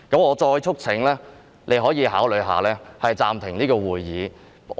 我再促請你考慮暫停會議。